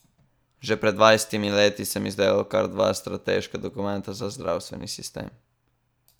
Že pred dvajsetimi leti sem izdelal kar dva strateška dokumenta za zdravstveni sistem.